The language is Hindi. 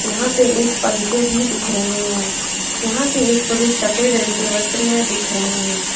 यहां पे एक पंखे भी दिख रहे हैं यहां पे एक पुरुष सफेद रंग के वस्त्र में दिख रहे हैं।